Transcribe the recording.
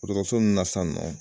Dɔgɔtɔrɔso nunnu na san nɔ